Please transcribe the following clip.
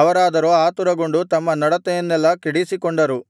ಅವರಾದರೋ ಆತುರಗೊಂಡು ತಮ್ಮ ನಡತೆಯನ್ನೆಲ್ಲಾ ಕೆಡಿಸಿಕೊಂಡರು